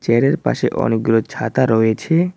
চেয়ারের পাশে অনেকগুলো ছাতা রয়েছে।